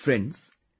Friends,